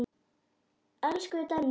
Elsku Denni.